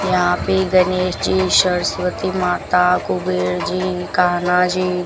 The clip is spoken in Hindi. यहां पे गनेश जी सरस्वती माता कुबेर जी कान्हाजी--